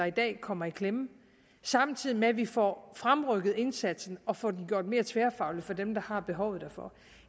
i dag kommer i klemme og samtidig får fremrykket indsatsen og får den gjort mere tværfaglig for dem der har behovet derfor